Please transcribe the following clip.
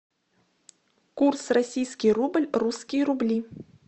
курс российский рубль русские рубли